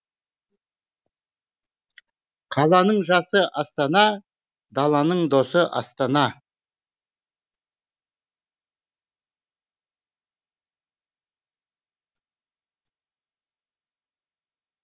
қаланың жасы астана даланың досы астана